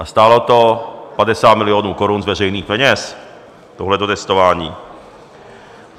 A stálo to 50 milionů korun z veřejných peněz, tohleto testování.